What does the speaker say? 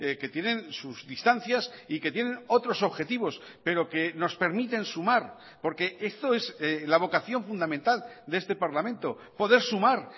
que tienen sus distancias y que tienen otros objetivos pero que nos permiten sumar porque esto es la vocación fundamental de este parlamento poder sumar